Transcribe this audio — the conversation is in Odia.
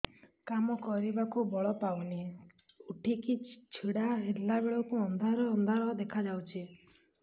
କାମ କରିବାକୁ ବଳ ପାଉନି ଉଠିକି ଛିଡା ହେଲା ବେଳକୁ ଅନ୍ଧାର ଅନ୍ଧାର ଦେଖା ଯାଉଛି